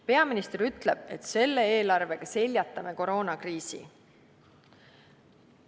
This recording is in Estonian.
Peaminister ütleb, et selle eelarvega seljatame koroonakriisi.